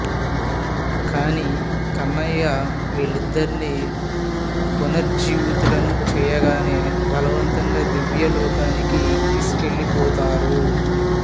కానీ కన్నయ్య వారిద్దరినీ పునరుజ్జీవితులని చేయగానే బలవంతంగా దివ్యలోకానికి తీసుకెళ్ళిపోతారు